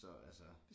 Så altså